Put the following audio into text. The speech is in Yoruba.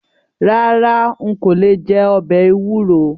Rárá n kò lè jẹ ọbẹ̀ ewúro.